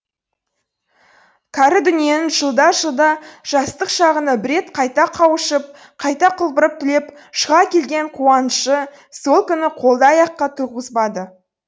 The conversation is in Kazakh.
кәрі дүниенің жылда жылда жастық шағына бір рет қайта қауышып қайта құлпырып түлеп шыға келген қуанышы сол күні қолды аяққа тұрғызбады